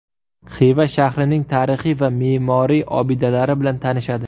Xiva shahrining tarixiy va me’moriy obidalari bilan tanishadi.